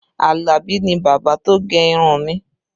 Alabi ni bábà tó gẹ irun mi